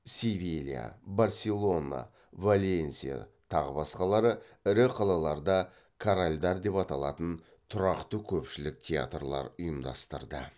севилья барселона валенсия тағы басқалары ірі қалаларда корральдар деп аталатын тұрақты көпшілік театрлар ұйымдастырды